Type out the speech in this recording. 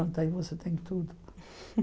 Pronto aí você tem tudo.